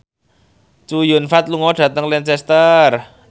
Chow Yun Fat lunga dhateng Lancaster